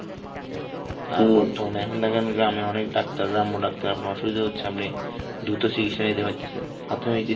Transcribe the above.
এখন দেখেন গ্রামে অনেক Doctor গ্রাম্য Doctor আপনার অসুবিধা হচ্ছে, আপনি দ্রুত চিকিৎসা নিতে পারতাছেন.